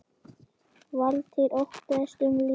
Valtýr: Óttaðist um líf hans?